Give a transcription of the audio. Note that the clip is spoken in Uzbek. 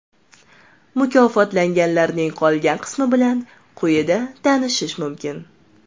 Mukofotlanganlarning qolgan qimsi bilan quyida tanishish mumkin.